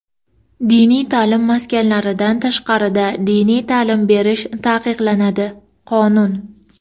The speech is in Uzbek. Diniy ta’lim maskanidan tashqarida diniy ta’lim berish taqiqlanadi — Qonun.